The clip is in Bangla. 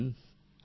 প্রেম জী হ্যাঁ